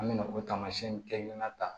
An bɛna o tamasiyɛn kelen ta